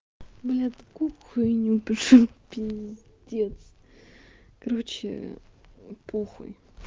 бля такую хуйню пишу пиздец короче ээ похуй